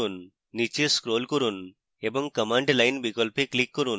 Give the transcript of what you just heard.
নীচে scroll করুন এবং command line বিকল্পে click করুন